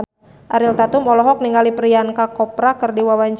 Ariel Tatum olohok ningali Priyanka Chopra keur diwawancara